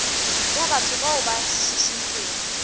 ya batho bao ba šišintšwego